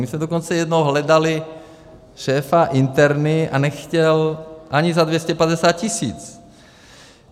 My jsme dokonce jednou hledali šéfa interny, a nechtěl ani za 250 tisíc.